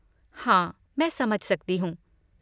हाँ, मैं समझ सकती हूँ।